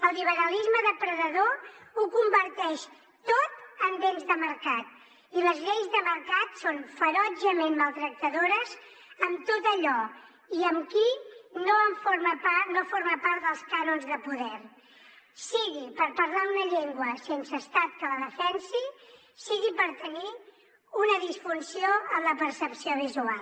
el liberalisme depredador ho converteix tot en béns de mercat i les lleis de mercat són ferotgement maltractadores amb tot allò i amb qui no forma part dels cànons de poder sigui pel fet de parlar una llengua sense estat que la defensi sigui pel fet de tenir una disfunció en la percepció visual